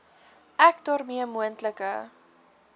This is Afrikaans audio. ek daarmee moontlike